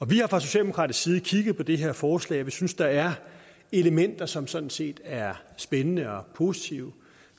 vi har fra socialdemokratisk side kigget på det her forslag og vi synes der er elementer som sådan set er spændende og positive